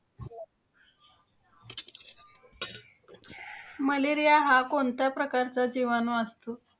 Malaria हा कोणत्या प्रकारचा जिवाणू असतो?